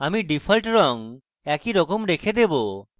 আমি ডিফল্ট রং একইভাবে রেখে দেবো